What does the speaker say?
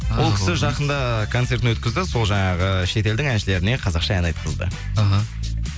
ол кісі жақында концертін өткізді сол жаңағы шет елдің әншілеріне қазақша ән айтқызды іхі